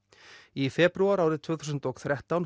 í febrúar árið tvö þúsund og þrettán